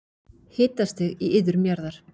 Hitastig í iðrum jarðar